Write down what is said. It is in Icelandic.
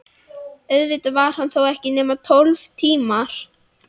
Auðvitað var hann þó ekki nema tólf tímar.